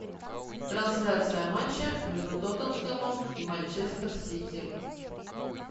трансляция матча между тоттенхэмом и манчестер сити